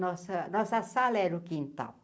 Nossa nossa sala era o quintal.